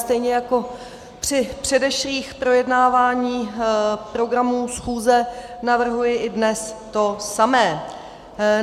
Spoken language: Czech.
Stejně jako při předešlých projednáváních programu schůze navrhuji i dnes to samé.